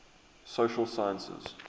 social sciences